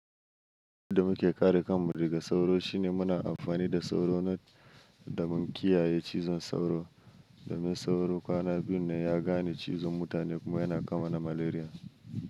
Abin da muke kare kanmu daga sauro shine muna amfani da sauro net da mun kiyaye cizon sauro. Domin sauro kwana biyun nan ya gane cizon mutane kuma yana ka mana malaria.